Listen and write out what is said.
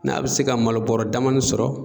N'a bi se ka malo bɔrɔ damanin sɔrɔ